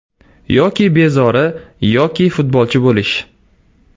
Yoki bezori, yoki futbolchi bo‘lish”.